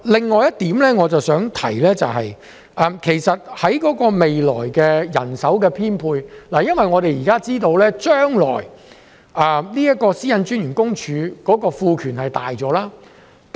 我想提出的另外一點，是有關未來的人手編配，因為我們知道，個人資料私隱專員將會獲賦予更大權力。